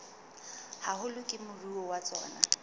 haholo ke moruo wa tsona